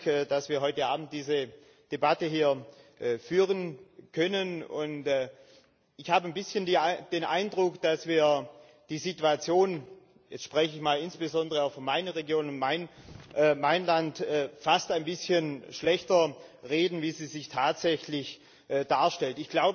Vielen Dank, dass wir heute Abend diese Debatte hier führen können. Ich habe ein bisschen den Eindruck, dass wir die Situation jetzt spreche ich mal insbesondere für meine Region und mein Land fast ein bisschen schlechter reden als sie sich tatsächlich darstellt.